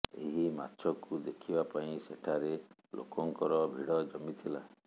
ଏହି ମାଛକୁ ଦେଖିବା ପାଇଁ ସେଠାରେ ଲୋକଙ୍କର ଭିଡ଼ ଜମିଥିଲା